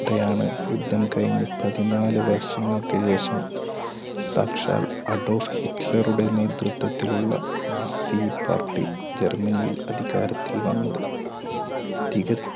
സംതൃപ്തിപുകയുന്നതിനിടെയാണ് യുദ്ധം കഴിഞ്ഞ് പതിനാല് വർഷങ്ങൾക്ക് ശേഷം സാക്ഷാൽ അഡോൾഫ് ഹിറ്റ്ലറുടെ നേതൃത്വത്തിലുള്ള രാഷ്ട്രീയ പാർട്ടി ജർമ്മനിയിൽ അധികാരത്തിൽ വന്നത്.